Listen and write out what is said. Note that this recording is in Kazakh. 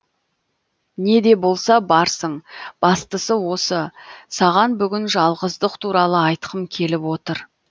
не де болса барсың бастысы осы саған бүгін жалғыздық туралы айтқым келіп отыр